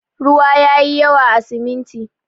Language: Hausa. Ruwa yayi yawa a siminti.